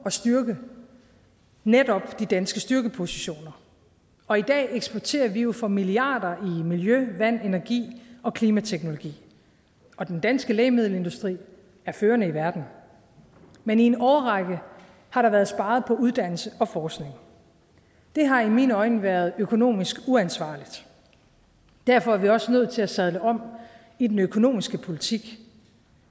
at styrke netop de danske styrkepositioner og i dag eksporterer vi jo for milliarder i miljø vand energi og klimateknologi og den danske lægemiddelindustri er førende i verden men i en årrække har der været sparet på uddannelse og forskning det har i mine øjne været økonomisk uansvarligt derfor er vi også nødt til at sadle om i den økonomiske politik